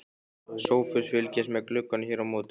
SOPHUS: Fylgist með glugganum hér á móti.